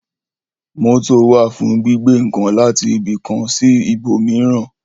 Mótò wà fún gbígbé ǹkan láti ibi kan sí ibò míràn